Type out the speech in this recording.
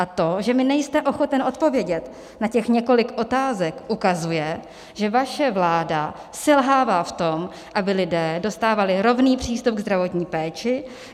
A to, že mi nejste ochoten odpovědět na těch několik otázek, ukazuje, že vaše vláda selhává v tom, aby lidé dostávali rovný přístup ke zdravotní péči.